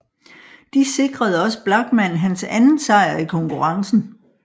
De sikrede også Blachmann hans anden sejr i konkurrrencen